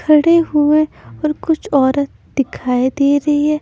खड़े हुए और कुछ औरत दिखाई दे रही है।